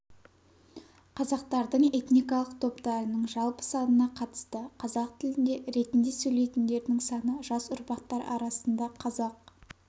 қазақтардың этникалық топтарының жалпы санына қатысты қазақ тілінде ретінде сөйлейтіндердің саны жас ұрпақтар арасында қазақ